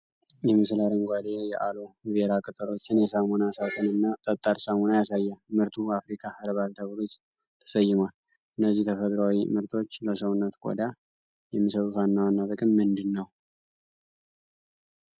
ይህ ምስል አረንጓዴ የአሎ ቬራ ቅጠሎችን፣ የሳሙና ሳጥንና ጠጣር ሳሙና ያሳያል፤ ምርቱ 'አፍሪካ ኸርባል' ተብሎ ተሰይሟል። እነዚህ ተፈጥሮአዊ ምርቶች ለሰውነት ቆዳ የሚሰጡት ዋና ጥቅም ምንድነው?